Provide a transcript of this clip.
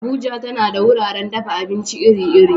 Abuja tana da wuraren dafa abinci iri-iri.